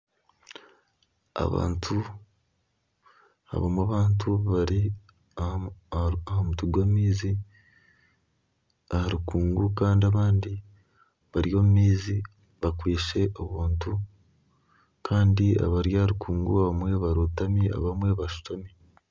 Abamwe abantu bari aha mutwe gw'amaizi aha rukuugu kandi abandi bari omu maizi bakwitse obuntu kandi abari aha rukuugu abamwe barotami abamwe bashutami.